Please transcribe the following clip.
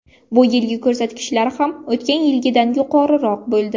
Bu yilgi ko‘rsatkichlar ham o‘tgan yilgidan yuqoriroq bo‘ldi.